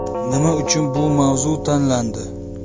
Nima uchun bu mavzu tanlandi ?